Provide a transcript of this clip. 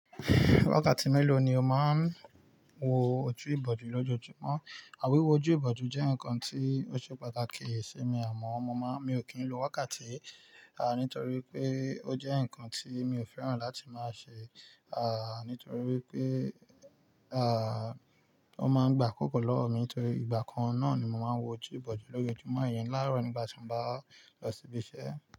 Wákàtí mélòó ni o máa ń wo ojú ìbòjú lójoojúmọ́? À wíwó ojú ìbòjú jẹ́ nǹkan tí ó ṣe pàtàkì sí mi àmọ́ mo máa, mi ò kí ń lo wákàtí, à, nítorí wipé ó jẹ́ nǹkan tí mi ò fẹ́ràn láti máa ṣe, à, nítorí wípé, àà, ó máa ń gbà kókó lọ́wọ́ mi torí ìgbà kan náà ni mo máa ń wo ojú ìbòjú lójoojúmọ́ iyẹn lárọ̀ nígbà tí mo bá lọ síbi iṣẹ́.